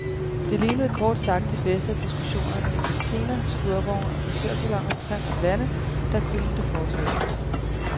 Det lignede kort sagt de bedste af diskussionerne i kantiner, skurvogne og frisørsaloner trindt om lande, og der kunne det fortsætte.